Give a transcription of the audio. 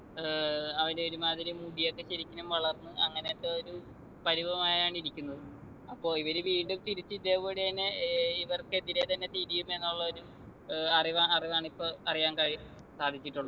ഏർ അവരൊരുമാതിരി മുടിയൊക്കെ ശരിക്കിനും വളർന്ന് അങ്ങനെയൊക്കെ ഒരു പരിവമായാണ് ഇരിക്കുന്നത് അപ്പൊ ഇവര് വീണ്ടും തിരിച്ചിതേപടി എന്നെ ഏർ ഇവർക്കെതിരെ തന്നെ തിരിയും എന്നുള്ള ഒരു ഏർ അറിവാ അറിവാണ് ഇപ്പൊ അറിയാൻ കഴി സാധിച്ചിട്ടുള്ളെ